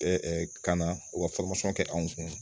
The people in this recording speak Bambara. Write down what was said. ka na u ka kɛ anw kun